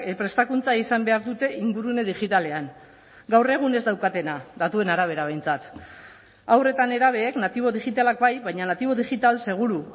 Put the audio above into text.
prestakuntza izan behar dute ingurune digitalean gaur egun ez daukatena datuen arabera behintzat haur eta nerabeek natibo digitalak bai baina natibo digital seguru